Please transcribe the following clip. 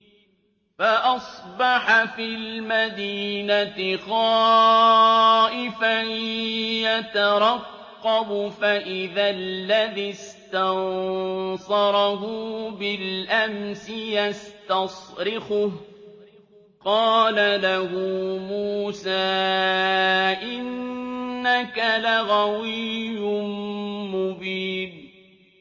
فَأَصْبَحَ فِي الْمَدِينَةِ خَائِفًا يَتَرَقَّبُ فَإِذَا الَّذِي اسْتَنصَرَهُ بِالْأَمْسِ يَسْتَصْرِخُهُ ۚ قَالَ لَهُ مُوسَىٰ إِنَّكَ لَغَوِيٌّ مُّبِينٌ